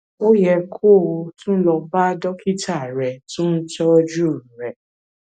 ó yẹ kó o tún lọ bá dókítà rẹ tó ń tọjú rẹ